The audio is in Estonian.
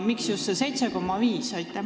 Miks just 7,5?